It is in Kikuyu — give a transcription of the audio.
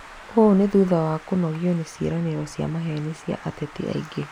Ũũ nĩ thutha wa kũnogio nĩ ciĩranĩro cia maheni cia ateti aingĩ.